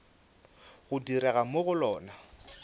go direga mo go lona